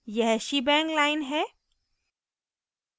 यह shebang shebang line है